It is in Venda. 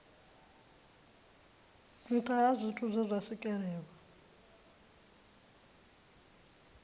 nṱha zwithu zwe zwa swikelelwa